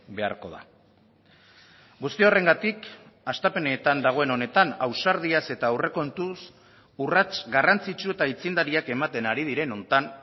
beharko da guzti horrengatik hastapenetan dagoen honetan ausardiaz eta aurrekontuz urrats garrantzitsu eta aitzindariak ematen ari diren honetan